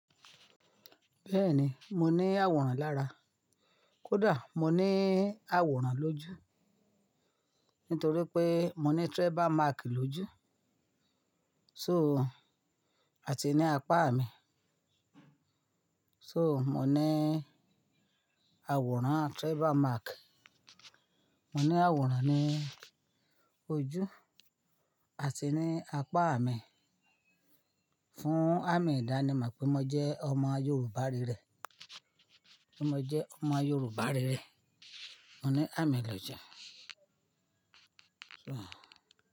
Bẹ́ẹ̀ni, mo ní àwòrán lára. Kódà mo ní àwòrán lójú nítorí pé mo ní tribal mark lójú. So, àti ní apá mi. So, mo ní àwòrán tribal mark. Mo ní àwòrán ní ojú àti ní apá mi fún àmì ìdánimọ̀ pé mo jẹ́ ọmọ Yorùbá rere. Mo jẹ́ ọmọ Yorùbá rere. Mo ní àmì lọ́jà.